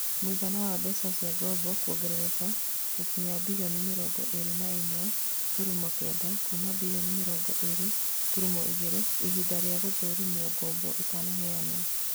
Mũigana wa mbeca cia ngombo kwongerereka gũkinyĩria birioni mĩrongo ĩrĩ na ĩmwe turumo kenda kuma birioni mĩrongo ĩrĩ turumo igĩrĩ ihinda rĩa gũthũrimo ngombo itaheanĩtwo